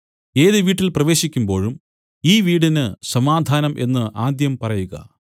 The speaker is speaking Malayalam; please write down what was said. ഏത് വീട്ടിൽ പ്രവേശിക്കുമ്പോഴും ഈ വീടിന് സമാധാനം എന്നു ആദ്യം പറയുക